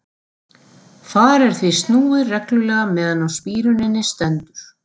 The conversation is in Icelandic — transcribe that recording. Þar er því snúið reglulega meðan á spíruninni stendur.